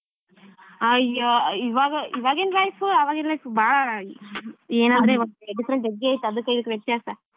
ಅಯ್ಯೋ ಇವಾಗ ಇವಾಗಿನ್ life ಆಗಿನ್ life ಭಾಳ ಏನಂದ್ರೆ ಇವತ್ತಿನ different life ಅದಕ್ಕೂ ಇದಕ್ಕೂ ವ್ಯತ್ಯಾಸ.